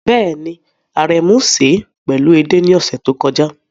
Bẹ́ẹ̀ni, Aremu sè é pẹ̀lú ẹde ní ọ̀sẹ̀ tó kọjá.